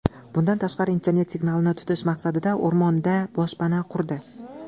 Bundan tashqari internet signalini tutish maqsadida o‘rmonda boshpana qurdi.